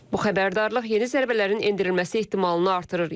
Bu xəbərdarlıq yeni zərbələrin endirilməsi ehtimalını artırır.